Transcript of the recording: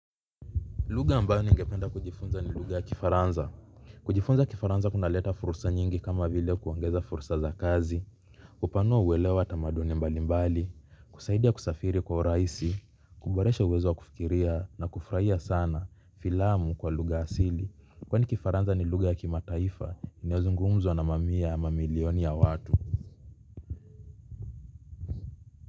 Lugha ambayo ningependa kujifunza ni lugha ya Kifaransa kujifunza Kifaransa kunaleta fursa nyingi kama vile kuongeza fursa za kazi. Upanua uwelewa tamaduni mbalimbali, husaidia kusafiri kwa rahisi, kuboresha uwezo kufikiria na kufurahia sana filamu kwa lugha asili. Kwani kifaransa ni lugha ya kimataifa, inayozungumzwa na mamia ya mamilioni ya watu.